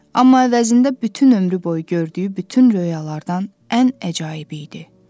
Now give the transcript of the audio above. Amma əvəzində bütün ömrü boyu gördüyü bütün röyalardan ən əcaib idi.